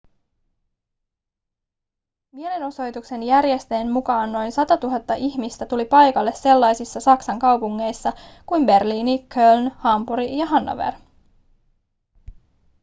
mielenosoituksen järjestäjien mukaan noin 100 000 ihmistä tuli paikalle sellaisissa saksan kaupungeissa kuin berliini köln hampuri ja hannover